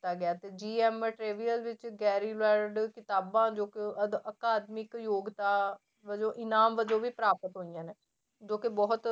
ਦਿੱਤਾ ਗਿਆ ਤੇ ਵਿੱਚ ਕਿਤਾਬਾਂ ਜੋ ਕਿ ਅਕਾਦਮਿਕ ਯੋਗਤਾ ਵਜੋਂ ਇਨਾਮ ਵਜੋਂ ਵੀ ਪ੍ਰਾਪਤ ਹੋਈਆਂ ਨੇ, ਜੋ ਕਿ ਬਹੁਤ